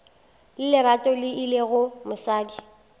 le lerato e lego mosadi